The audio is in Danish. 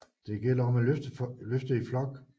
Det gælder om at løfte i flok